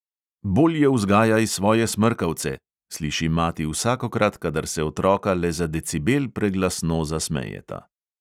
"Bolje vzgajaj svoje smrkavce!" sliši mati vsakokrat, kadar se otroka le za decibel preglasno zasmejeta.